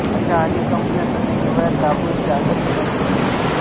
अशा अनेक कंपन्या सध्या हिवाळ्यात दाभोळीस चार्टर विमानसेवा पुरवतात